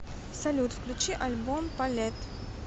салют включи альбом палетт